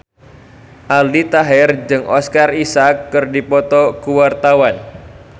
Aldi Taher jeung Oscar Isaac keur dipoto ku wartawan